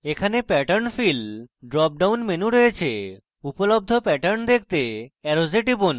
এখানে pattern fill drop সবন menu রয়েছে উপলব্ধ pattern দেখতে অ্যারোসে টিপুন